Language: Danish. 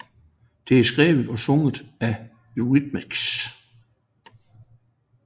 Det er skrevet og sunget af Eurythmics